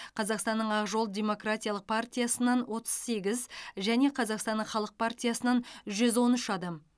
қазақстанның ақ жол демократиялық партиясынан отыз сегіз және қазақстанның халық партиясынан жүз он үш адам